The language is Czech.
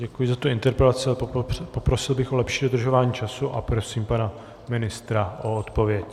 Děkuji za tu interpelaci, ale poprosil bych o lepší dodržování času, a prosím pana ministra o odpověď.